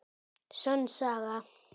Sönn saga.